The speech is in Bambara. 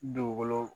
Dugukolo